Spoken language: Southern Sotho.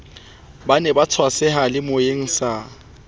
ba ne ba tswaseyalemoyeng sa